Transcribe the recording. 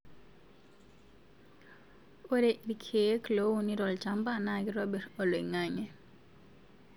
Ore irkeek loouni tolchamba na kitobir olangainge